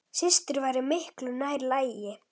Systur væri miklu nær lagi.